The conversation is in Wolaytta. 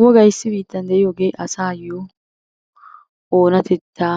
Wogay issi biittan de'iyooge asayyo oonatetta